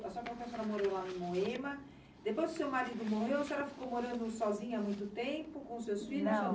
a senhora falou que a senhora morou lá no Moema, depois que o seu marido morreu, a senhora ficou morando sozinha há muito tempo com os seus filhos?